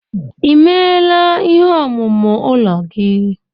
Emeela ihe omume ụlọ gị?